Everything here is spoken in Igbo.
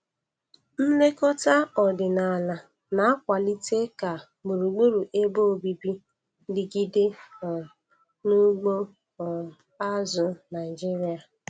Nlekọta ọdịnala na-akwalite ka gburugburu ebe obibi digide um na ugbo um azụ̀ Naịjiria.